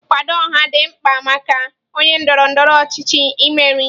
Nkwado ọha dị mkpa maka onye ndọrọ ndọrọ ọchịchị imeri.